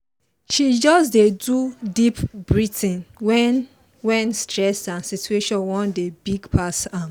he just dey do deep breathing when when stress and situation wan dey big pass am